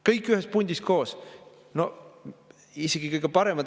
Kõik ühes pundis koos!